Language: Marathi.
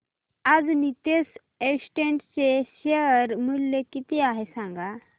आज नीतेश एस्टेट्स चे शेअर मूल्य किती आहे सांगा